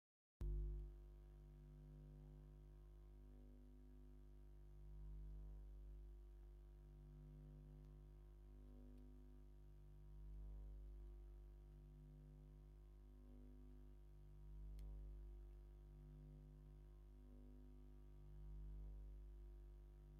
ዲኮር ብዝተፈላለዩ ሕብርታት ዘለዎም ባህላዊ ስፈታትን ኣርተፍሻል ዕንባባታትን መጋረጃን ዝመልከዓን ዘገፀን ኣብ ማእከሉ ብዕንፀይቲ ዝተሰረሓ ክልተ ወንበር ዘለዎ ኮይኑ ዲኮር ደስ ዶ ይብለኩም?